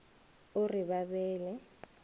o re ba be le